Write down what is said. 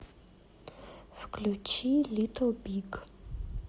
включи литл биг